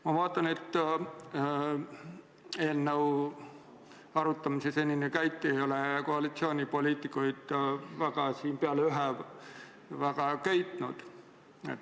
Ma vaatan, et eelnõu arutamise senine käik ei ole koalitsioonipoliitikuid, peale ühe, väga köitnud.